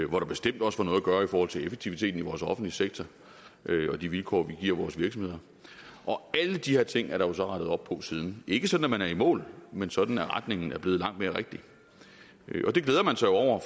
hvor der bestemt også var noget at gøre i forhold til effektiviteten i vores offentlige sektor og de vilkår vi giver vores virksomheder alle de her ting er der jo så rettet op på siden ikke sådan at man er i mål men sådan at retningen er blevet langt mere rigtig og det glæder man sig over